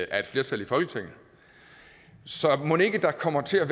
af et flertal i folketinget så mon ikke der kommer til at